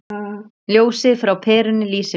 Ljósið frá perunni lýsir mér.